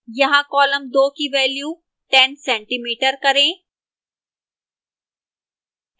यहां column 2 की value 10cm करें